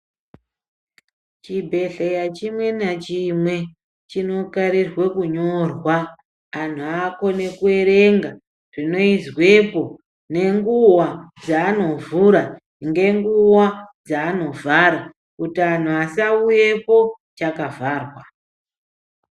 Chibhendhleya chimwe nachimwe chinokarirwe kunyorwa anhu akone kuerenga zvinoizwepo nenguwa dzaanovhura ngenguwa dzaanovhara kuti anhu asauyepo chakavharwa.